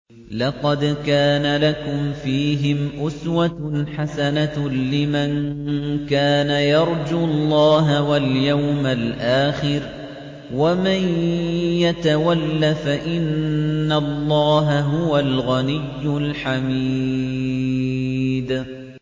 لَقَدْ كَانَ لَكُمْ فِيهِمْ أُسْوَةٌ حَسَنَةٌ لِّمَن كَانَ يَرْجُو اللَّهَ وَالْيَوْمَ الْآخِرَ ۚ وَمَن يَتَوَلَّ فَإِنَّ اللَّهَ هُوَ الْغَنِيُّ الْحَمِيدُ